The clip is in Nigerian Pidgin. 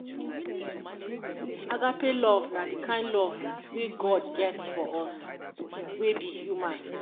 agape love na de kind love wey God get for us wey be human